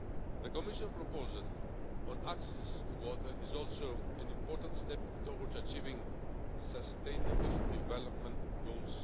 The Commission proposal on access to water is also an important step towards achieving Sustainable Development Goal